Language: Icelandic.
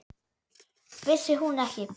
Vissi hún ekki!